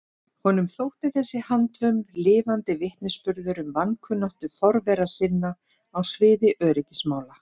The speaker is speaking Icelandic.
Honum þótti þessi handvömm lifandi vitnisburður um vankunnáttu forvera sinna á sviði öryggismála.